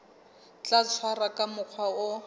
tla tshwarwa ka mokgwa o